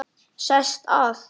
Sest að.